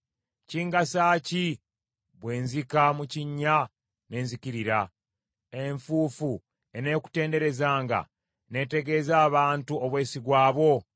“Kingasa ki bwe nzika mu kinnya ne nzikirira? Enfuufu eneekutenderezanga n’etegeeza abantu obwesigwa bwo?